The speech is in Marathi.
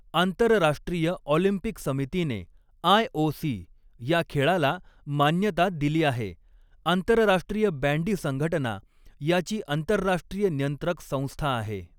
आंतरराष्ट्रीय ऑलिंपिक समितीने आय.ओ.सी. या खेळाला मान्यता दिली आहे, आंतरराष्ट्रीय बॅंडी संघटना याची आंतरराष्ट्रीय नियंत्रक संस्था आहे.